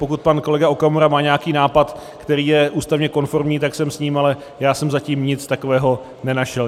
Pokud pan kolega Okamura má nějaký nápad, který je ústavně konformní, tak sem s ním, ale já jsem zatím nic takového nenašel.